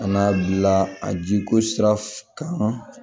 A n'a bila a jiko sira kan